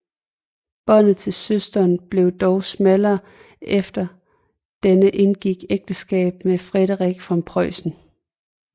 Båndet til søsteren blev dog smallere efter at denne indgik ægteskab med Friedrich af Preussen